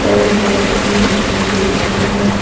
और लाइट भी दिखाई दे रहा है।